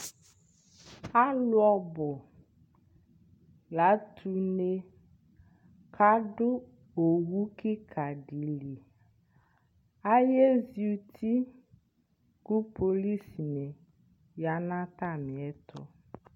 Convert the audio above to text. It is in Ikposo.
Alʋ ɔbʋ la atʋ une kʋ adʋ owu kɩka dɩ li Ayezi uti kʋ polisinɩ ya nʋ atamɩɛtʋ